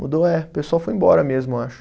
Mudou, é. O pessoal foi embora mesmo, eu acho.